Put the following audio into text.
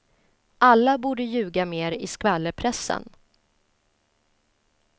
Alla borde ljuga mer i skvallerpressen.